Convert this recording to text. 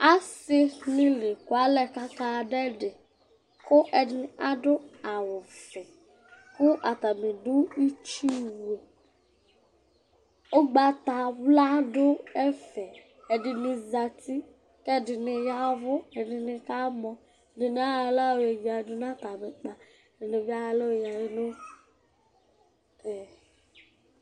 Asɩnɩ la ekualɛ kʋ akadʋ ɛdɩ kʋ ɛdɩnɩ adʋ awʋvɛ kʋ atanɩ dʋ itsuwu Ʋgbatawla dʋ ɛfɛ Ɛdɩnɩ zati kʋ ɛdɩnɩ ya ɛvʋ Ɛdɩnɩ kamɔ, ɛdɩnɩ ayɔ aɣla yɔyǝdu nʋ atamɩ ʋkpa, ɛdɩnɩ bɩ ayɔ aɣla yɔ nʋ e